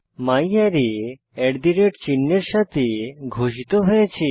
ম্যারে চিহ্ন এর সাথে ঘোষিত হয়েছে